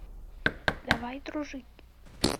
давай дружить